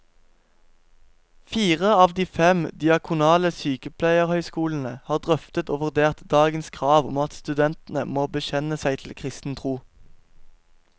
Fire av de fem diakonale sykepleierhøyskolene har drøftet og vurdert dagens krav om at studentene må bekjenne seg til kristen tro.